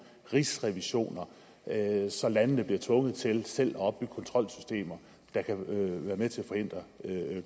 rigsrevisioner så landene bliver tvunget til selv at opbygge kontrolsystemer der kan være med til at forhindre